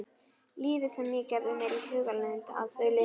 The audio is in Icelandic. Lífið sem ég gerði mér í hugarlund að þau lifðu.